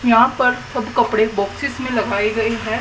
यहां पर सब कपड़े बॉक्सेस में लगाई गई हैं।